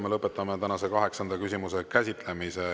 Me lõpetame tänase kaheksanda küsimuse käsitlemise.